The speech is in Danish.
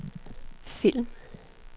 film